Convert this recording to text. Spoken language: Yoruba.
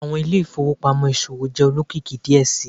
Awọn ile-ifowopamọ iṣowo jẹ olokiki diẹ sii